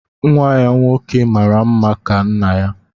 Nwa ya nwoke mara mma ka nna ya